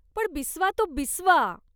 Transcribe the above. पण बिस्वा तो बिस्वा.